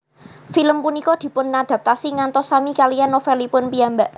Film punika dipunadaptasi ngantos sami kaliyan novelipun piyambak